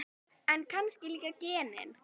En kannski líka genin.